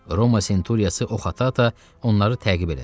Roma senturiyası Oxata onları təqib elədi.